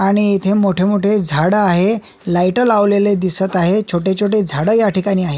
आणि इथे मोठे मोठे झाड आहे लाईट लावलेले दिसत आहे छोटे छोटे झाडं याठिकाणी आहे.